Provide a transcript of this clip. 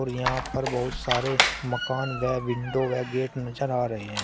यहां पर बहुत सारे मकान वे विंडो वे गेट नजर आ रहे है।